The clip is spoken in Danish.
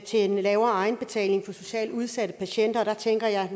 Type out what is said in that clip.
til en lavere egenbetaling for socialt udsatte patienter og der tænker jeg